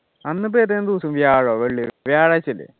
അന്ന് ഇപ്പോ ഏതാനു വ്യാഴോ വെള്ളിയോ വ്യാഴാഴ്ചയല്ലേ